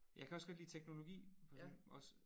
Jeg kan også godt lide teknologi også